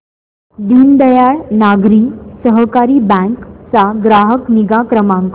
Deendayal Nagari Sahakari bank चा ग्राहक निगा क्रमांक